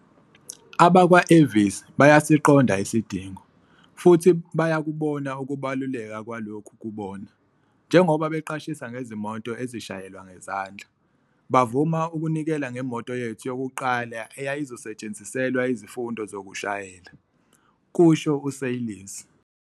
"Abakwa-Avis basiqonda isidingo, futhi bakubona ukubaluleka kwalokhu kubona, njengoba beqashisa ngezimoto ezishayelwa ngezandla. Bavuma ukunikela ngemoto yethu yokuqala eyayizosetshenziselwa izifundo zokushayela," kusho u-Seirlis.